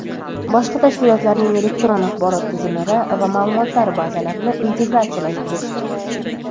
boshqa tashkilotlarning elektron axborot tizimlari va maʼlumotlar bazalarini integratsiyalashtirish;.